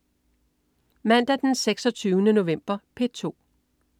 Mandag den 26. november - P2: